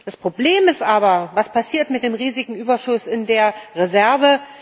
Das Problem ist aber Was passiert mit dem riesigen Überschuss in der Reserve?